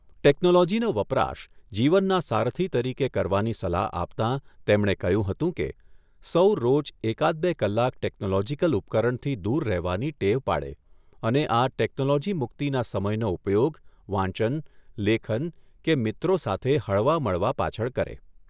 ટેક્નોલોજીનો વપરાશ જીવનના સારથિ તરીકે કરવાની સલાહ આપતાં તેમણે કહ્યું હતું કે સૌ રોજ એકાદ બે કલાક ટેક્નોલોજિકલ ઉપકરણથી દૂર રહેવાની ટેવ પાડે અને આ ટેક્નોલોજી મુક્તિના સમયનો ઉપયોગ વાંચન, લેખન કે મિત્રો સાથે હળવામળવા પાછળ કરે.